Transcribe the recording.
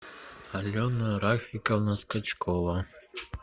алена рафиковна скачкова